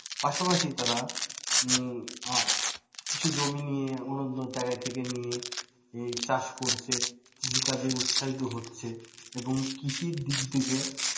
পাশাপাশি তারা কিছু জমি নিয়ে অনুর্বর জায়গা থেকে নিয়ে চাষ করছে কৃষিকাজে উৎসাহিত হচ্ছে এবং কৃষির দিক থেকে,